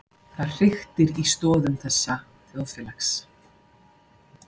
Það hriktir í stoðum þessa þjóðfélags.